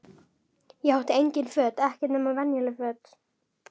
Ég átti engin föt, ekkert nema venjuleg föt.